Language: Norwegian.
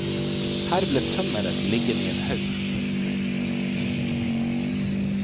Her ble tømmeret liggende i en haug.